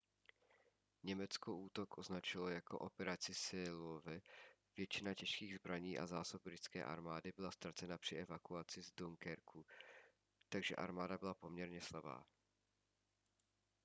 německo útok označilo jako operaci seelöwe . většina těžkých zbraní a zásob britské armády byla ztracena při evakuaci z dunkerque takže armáda byla poměrně slabá